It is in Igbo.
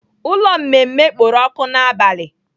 Ụlọ mmemme kpooro ọkụ n'abalị.